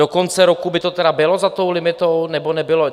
Do konce roku by to tedy bylo za tou limitou, nebo nebylo?